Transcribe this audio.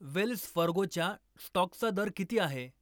Wales फर्गोच्या स्टॉकचा दर किती आहे